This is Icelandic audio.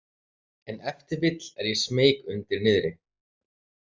En ef til vill er ég smeyk undir niðri.